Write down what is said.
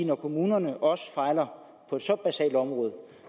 når kommunerne også fejler på et så basalt område